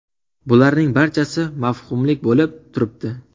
Bularning barchasi – mavhumlik bo‘lib turibdi.